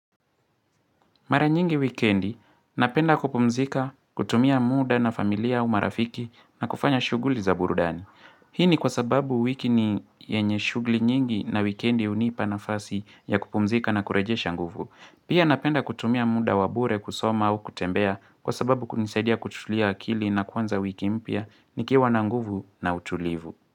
Mara nyingi wikendi, napenda kupumzika, kutumia muda na familia au marafiki na kufanya shughuli za burudani. Hii ni kwa sababu wiki ni yenye shughuli nyingi na wikendi hunipa nafasi ya kupumzika na kurejesha nguvu. Pia napenda kutumia muda wa bure kusoma au kutembea kwa sababu kunisaidia kutulia akili na kuanza wiki mpya nikiwa na nguvu na utulivu.